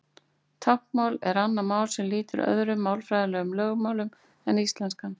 Táknmál er annað mál sem lýtur öðrum málfræðilegum lögmálum en íslenskan.